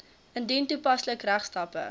indien toepaslik regstappe